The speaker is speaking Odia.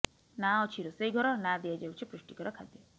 ନା ଅଛି ରୋଷେଇ ଘର ନା ଦିଆଯାଉଛି ପୁଷ୍ଟିକର ଖାଦ୍ୟ